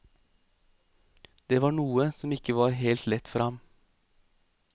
Det var noe som ikke var helt lett for ham.